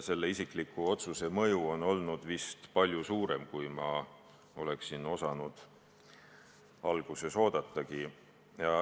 Selle isikliku otsuse mõju on olnud vist palju suurem, kui ma alguses oodata oskasin.